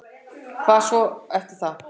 Hvað svo eftir það?